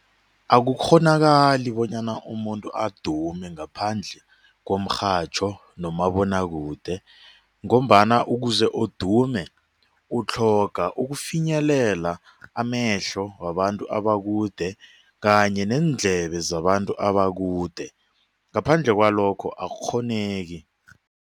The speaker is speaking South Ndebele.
Akukghonakali bonyana umuntu adume ngaphandle ngomrhatjho nomabonwakude ngombana ukuze udume utlhoga ukufinyelela amehlo wabantu abakude kanye neendlebe zabantu abakude ngaphandle kwalokho akukghoneki.